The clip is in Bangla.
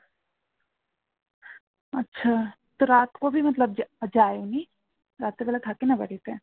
যায় উনি রাত্রি বেলা থাকে না বাড়িতে